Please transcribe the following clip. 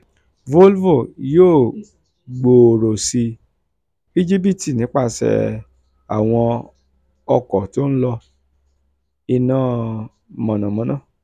volvo yóò gbòòrò sí um íjíbítì nípasẹ̀ àwọn ọkọ̀ tó ń lo iná mànàmáná